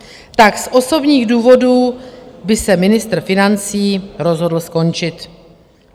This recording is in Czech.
Tak z osobních důvodů by se ministr financí rozhodl skončit.